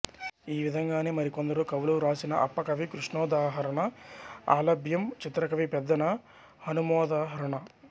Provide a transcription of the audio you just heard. ఈ విధంగానే మరికొందరు కవులు వ్రాసిన అప్పకవికృష్ణోదాహరణ అలభ్యం చిత్రకవి పెద్దన హనుమోదాహరణ